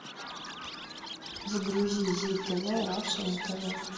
загрузи зи тв раша на тв